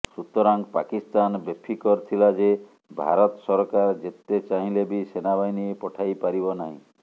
ସୁତରାଂ ପାକିସ୍ତାନ ବେଫିକର ଥିଲା ଯେ ଭାରତ ସରକାର ଯେତେ ଚାହିଁଲେ ବି ସେନାବାହିନୀ ପଠାଇପାରିବ ନାହିଁ